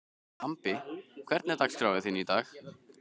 Bambi, hvernig er dagskráin í dag?